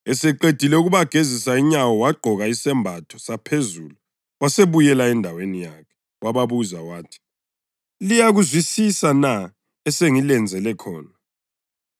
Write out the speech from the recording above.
Eseqedile ukubagezisa inyawo, wagqoka isembatho saphezulu wasebuyela endaweni yakhe. Wababuza wathi, “Liyakuzwisisa na esengilenzele khona?